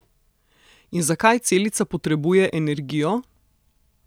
In zakaj celica potrebuje energijo?